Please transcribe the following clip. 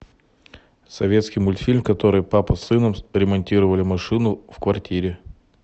советский мультфильм в котором папа с сыном ремонтировали машину в квартире